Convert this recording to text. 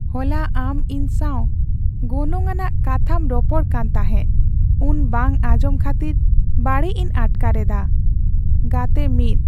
ᱦᱚᱞᱟ ᱟᱢ ᱤᱧ ᱥᱟᱶ ᱜᱚᱱᱚᱝ ᱟᱱᱟᱜ ᱠᱟᱛᱷᱟᱢ ᱨᱚᱯᱚᱲ ᱠᱟᱱ ᱛᱟᱦᱮᱸᱫ ᱩᱱ ᱵᱟᱝ ᱟᱸᱡᱚᱢ ᱠᱷᱟᱹᱛᱤᱨ ᱵᱟᱹᱲᱤᱡ ᱤᱧ ᱟᱴᱠᱟᱨ ᱮᱫᱟ ᱾ (ᱜᱟᱛᱮ 1)